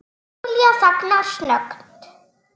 Júlía þagnar snöggt.